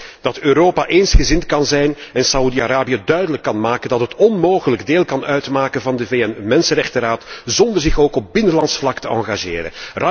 Ik hoop dat Europa eensgezind kan zijn en Saudi Arabië duidelijk kan maken dat het onmogelijk deel kan uitmaken van de VN Mensenrechtenraad zonder zich ook op binnenlands vlak te engageren.